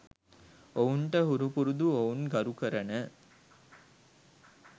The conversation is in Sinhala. ඔවුන්ට හුරුපුරුදු ඔවුන් ගරුකරන